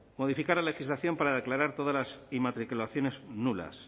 modificar la legislación para declarar todas las inmatriculaciones nulas